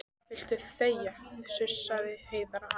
Viltu þegja, sussaði Heiða á hana.